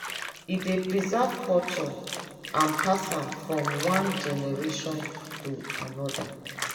e dey preserve culture and pass am from one generation to anoda.